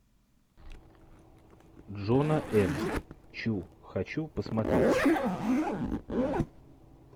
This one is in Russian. джона м чу хочу посмотреть